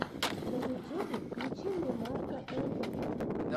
на ютюбе включи мне марка энтони